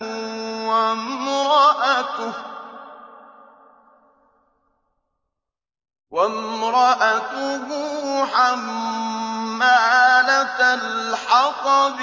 وَامْرَأَتُهُ حَمَّالَةَ الْحَطَبِ